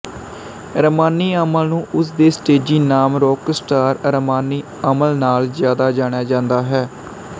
ਰਮਾਨੀ ਅਮਲ ਨੂੰ ਉਸ ਦੇ ਸਟੇਜੀ ਨਾਮ ਰੌਕਸਟਾਰ ਰਮਾਨੀ ਅਮਲ ਨਾਲ ਜ਼ਿਆਦਾ ਜਾਣਿਆ ਜਾਂਦਾ ਹੈ